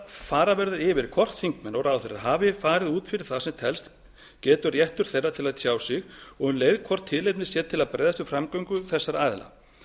fara verður yfir hvort þingmenn og ráðherrar hafi farið út fyrir það sem talist getur réttur þeirra til að tjá sig og um leið hvort tilefni sé til að bregðast við framgöngu þessara aðila af